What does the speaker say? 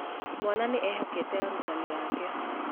Mwana nĩ ehokete arutani ake